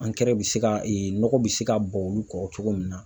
Ankɛrɛ bɛ se ka e nɔgɔ bɛ se ka bɔn olu kɔrɔ cogo min na.